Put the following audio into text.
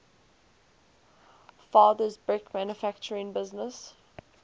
father's brick manufacturing business